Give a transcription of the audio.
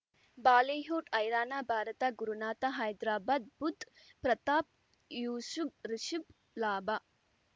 Bollywood ಹೈರಾಣ ಭಾರತ ಗುರುನಾಥ ಹೈದ್ರಾಬಾದ್ ಬುಧ್ ಪ್ರತಾಪ್ ಯೂಸುಫ್ ರಿಷುಬ್ ಲಾಭ